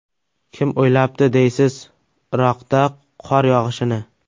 Kim o‘ylabdi deysiz, Iroqda qor yog‘ishini!